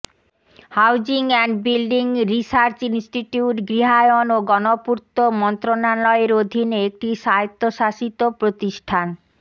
housing and building research institute গৃহায়ন ও গণপূর্ত মন্ত্রণালয়ের অধীনে একটি স্বায়ত্তশাসিত প্রতিষ্ঠান